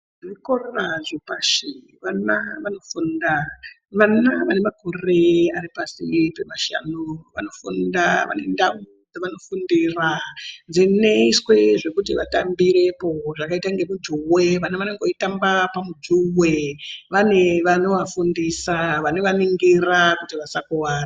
Zvikora zvepashi vana vanofunda. Vana vane makore ari pashi pemashanu vanofunda, vane ndawu dzevanofundira dzinoiswe zvekuti vatambirepo zvakaita ngemujuwe, vana vanenge veitambe pamujuwe vaine vanovafundisa vanovaningira kuti vasakuvara.